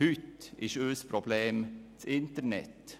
Heute ist unser Problem das Internet.